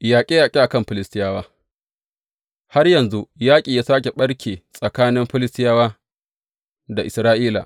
Yaƙe yaƙe a kan Filistiyawa Har yanzu yaƙi ya sāke ɓarke tsakanin Filistiyawa da Isra’ila.